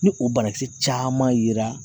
Ni o banakisɛ caman yera